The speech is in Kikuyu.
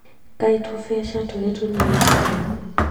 Kaĩ tũbeca tũrĩ tũnini atĩa